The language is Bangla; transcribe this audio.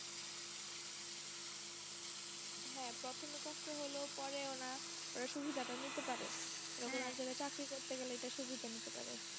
হ্যাঁ প্রথমে কষ্ট হলেও পরে ওরা সুবিধাটা নিতে পারে চাকরি করতে গেলে এটা সুবিধা নিতে পারে